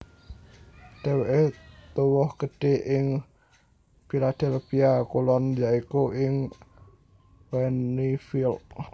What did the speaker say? Dhéwéké tuwuh gedhé ing Philadelphia Kulon ya iku ing Wynnefield